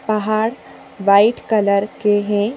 पहाड़ white colour के हैं।